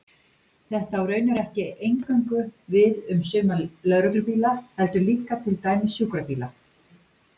Þetta á raunar ekki eingöngu við um suma lögreglubíla, heldur líka til dæmis sjúkrabíla.